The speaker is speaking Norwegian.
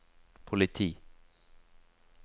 politi